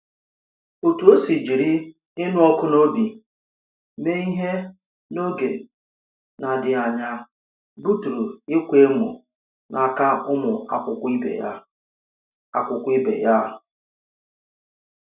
Ọ̀tú o si jiri ìnụ̀ ọkụ n'obi mee ihe n’oge na-adịghị anya butùrù ìkwa èmo na aka ụmụ akwụkwọ ìbè ya. akwụkwọ ìbè ya.